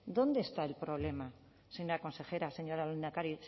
dónde está el problema señora consejera señor lehendakari